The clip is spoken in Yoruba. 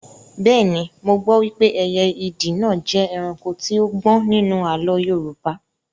Bẹ́ẹ̀ni, mo gbọ́ wípé ẹyẹ ìdì náà jẹ́ ẹranko tí ó gbọ́n nínú àlọ́ Yorùbá